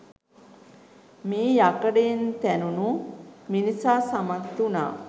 මේ යකඩයෙන් තැනුණු මිනිසා සමත් වුණා